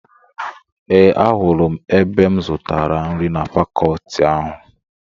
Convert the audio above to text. Ee, ahụrụ m ebe m zutara nri na fakọọti ahụ.